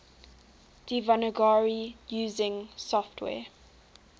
devanagari using software